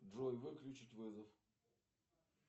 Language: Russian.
джой выключить вызов